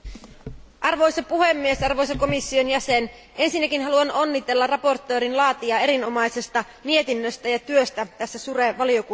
Arvoisa puhemies, arvoisa komission jäsen, ensinnäkin haluan onnitella mietinnön laatijaa erinomaisesta mietinnöstä ja työstä tässä SURE valiokunnassa.